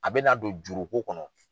A bɛ na don juruko kɔnɔ.